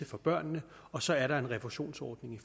for børnene og så er der en refusionsordning